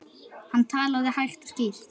Hann talaði hægt og skýrt.